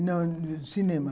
– Não, cinema.